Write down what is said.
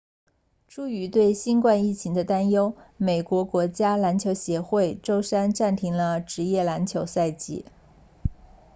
出于对新冠疫情的担忧美国国家篮球协会 nba 周三暂停了职业篮球赛季